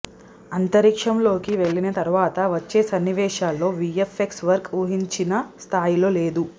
అంతరిక్షంలోకి వెళ్లిన తరవాత వచ్చే సన్నివేశాల్లో వీఎఫ్ఎక్స్ వర్క్ ఊహించిన స్థాయిలో లేదు